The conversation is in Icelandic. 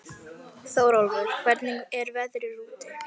Þeir ætla sér að hafa hér bækistöð um ófyrirsjáanlega framtíð!